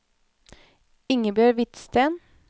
Ingebjørg Hvidsten